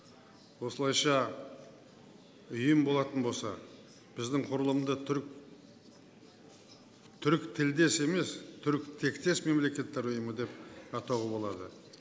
осылайша ұйым болатын болса біздің құрылымды түріктілдес емес түркітектес мемлекеттер ұйымы деп атауға болады